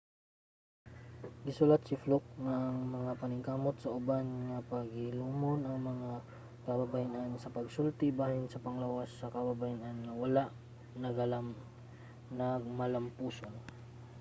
gisulat si fluke nga ang mga paningkamot sa uban nga pahilumon ang mga kababayen-an sa pagsulti bahin sa panglawas sa kababayen-an kay wala nagmalampuson